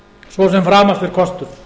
svo sem framast er kostur